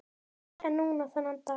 Fyrr en núna þennan dag.